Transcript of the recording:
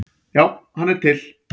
Já, hann er til.